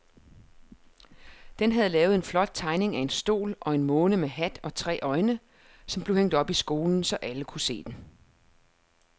Dan havde lavet en flot tegning af en sol og en måne med hat og tre øjne, som blev hængt op i skolen, så alle kunne se den.